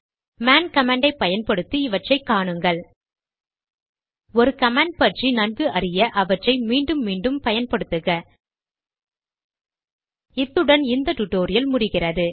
மேன்man command ஐ பயன்படுத்தி இவற்றை காணுங்கள் ஒரு கமாண்ட் பற்றி நன்கு அறிய அவற்றை மீண்டும் மீண்டும் பயன்படுத்துக இத்துடன் இந்த டுடோரியல் நிறைவு பெறுகிறது